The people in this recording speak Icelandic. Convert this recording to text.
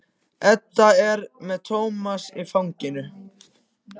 Edda er með Tómas í fanginu.